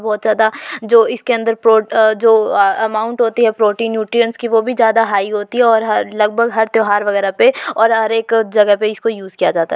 बहुत ज्यादा जो इसके अंदर प्र ओ जो अ अमाउंट होती है। प्रोटीन न्यूट्रिएंत्स की वो भी बहुत ज्यादा हाई होती है और लगभग हर त्योहार वगेरह पे और हर एक जगह पे इसे यूज किया जाता है।